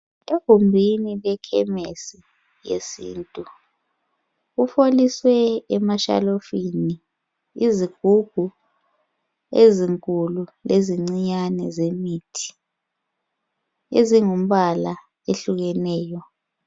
Egumbini lekhemisi yesintu kufoliswe imithi emashelufini. izigubhu ezinkulu lezincinyane zemithi .ezingumbala ehlukeneyo